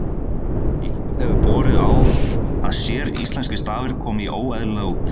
eitthvað hefur borið á að séríslenskir stafir komi óeðlilega út